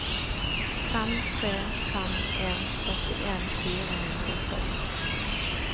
fem tre fem en førtien fire hundre og tolv